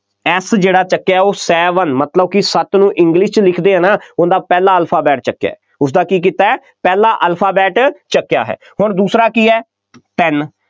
S ਜਿਹੜਾ ਚੁੱਕਿਆ ਉਹ seven ਮਤਲਬ ਕਿ ਸੱਤ ਨੂੰ english 'ਚ ਲਿਖਦੇ ਆ, ਨਾ, ਉਹਦਾ ਪਹਿਲਾ alphabet ਚੁੱਕਿਆ, ਉਸਦਾ ਕੀ ਕੀਤਾ, ਪਹਿਲਾ alphabet ਚੁੱਕਿਆ ਹੈ, ਹੁਣ ਦੂਸਰਾ ਕੀ ਹੈ, ਤਿੰਨ,